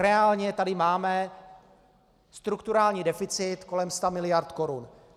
Reálně tady máme strukturální deficit kolem 100 mld. korun.